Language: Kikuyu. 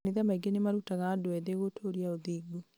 makanitha maingĩ nĩmarutaga andũ ethĩ gũtũria ũthingu